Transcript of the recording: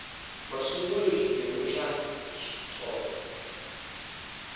masungulo xiphemu xa ii xitsonga